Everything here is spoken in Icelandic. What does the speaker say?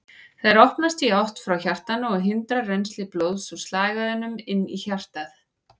Þær opnast í átt frá hjartanu og hindra rennsli blóðs úr slagæðunum inn í hjartað.